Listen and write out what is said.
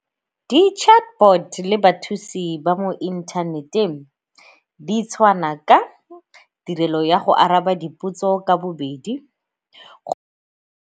Di-chatbot le bathusi ba mo inthaneteng ditshwana ka tirelo ya go araba dipotso ka bobedi .